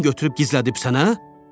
Sən götürüb gizlədibsən, hə?